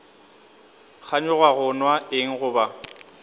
kganyoga go nwa eng goba